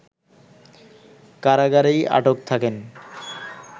কারাগারেই আটক থাকেন